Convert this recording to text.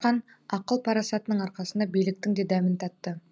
асқан ақыл парасатының арқасында биліктің де дәмін татты